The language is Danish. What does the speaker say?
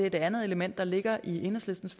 et andet element der ligger i enhedslistens